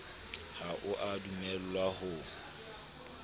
ha o a dumellwa ho